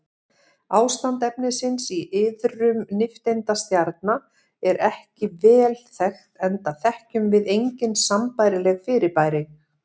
Ástand efnisins í iðrum nifteindastjarna er ekki vel þekkt enda þekkjum við engin sambærileg fyrirbæri.